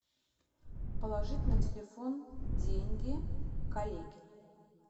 положить на телефон деньги коллеге